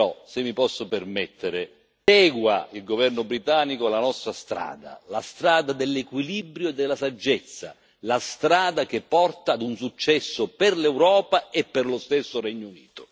Però, se mi posso permettere, segua il governo britannico la nostra strada la strada dell'equilibrio e della saggezza, la strada che porta ad un successo per l'Europa e per lo stesso Regno Unito.